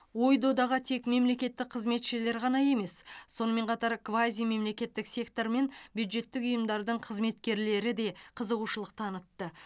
ой додаға тек мемлекеттік қызметшілер ғана емес сонымен қатар квазимемлекеттік сектор мен бюджеттік ұйымдардың қызметкерлері де қызығушылық танытты